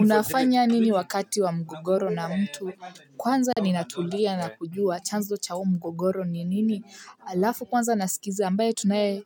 Unafanya nini wakati wa mgogoro na mtu kwanza ninatulia na kujua chanzo cha uo mgogoro ni nini alafu kwanza nasikiza ambaye tunaye